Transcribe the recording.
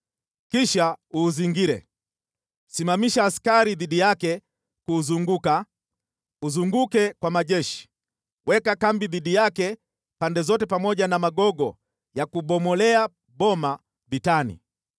Kisha uuzingire: Simamisha askari dhidi yake kuuzunguka, uzunguke kwa majeshi, weka kambi dhidi yake pande zote pamoja na magogo ya kubomolea boma vitani.